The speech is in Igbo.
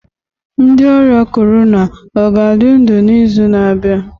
Ndị ọrịa corona ọ ga-adị ndụ n'izu na-abịa?